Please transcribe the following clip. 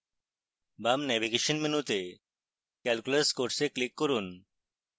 বাম ন্যাভিগেশন মেনুতে calculus course click করুন